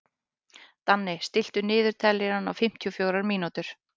Danni, stilltu niðurteljara á fimmtíu og fjórar mínútur.